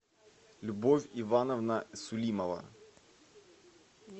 любовь ивановна сулимова